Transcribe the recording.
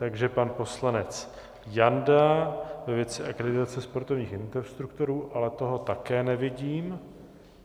Takže pan poslanec Janda ve věci akreditace sportovních instruktorů, ale toho také nevidím.